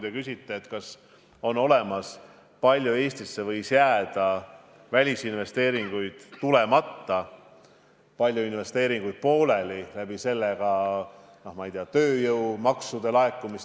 Te küsite, kas on olemas informatsiooni, kui palju Eestisse võis jääda välisinvesteeringuid tulemata, kui palju investeeringuid jäi pooleli ja selle tõttu, ma ei tea, tööjõumakse laekumata.